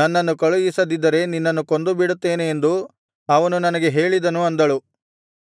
ನನ್ನನ್ನು ಕಳುಹಿಸದಿದ್ದರೆ ನಿನ್ನನ್ನು ಕೊಂದುಬಿಡುತ್ತೇನೆ ಎಂದು ಅವನು ನನಗೆ ಹೇಳಿದನು ಅಂದಳು